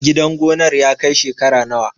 Gidan gonar ya kai shekara nawa?